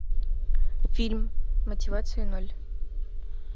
фильм мотивации ноль